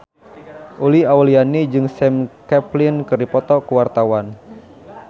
Uli Auliani jeung Sam Claflin keur dipoto ku wartawan